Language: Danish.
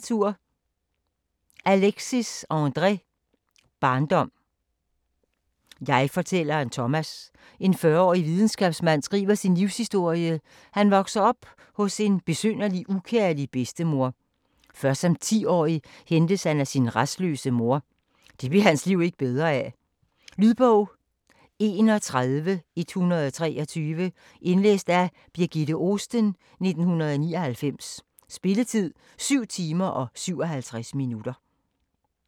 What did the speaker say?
Alexis, André: Barndom Jegfortælleren Thomas, en 40-årig videnskabsmand, skriver sin livshistorie. Han vokser op hos en besynderlig, ukærlig bedstemor. Først som 10-årig hentes han af sin rastløse mor. Det bliver hans liv ikke bedre af. Lydbog 31123 Indlæst af Birgitte Ohsten, 1999. Spilletid: 7 timer, 57 minutter.